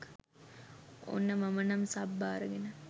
ඔන්න මම නම් සබ් බාරගෙන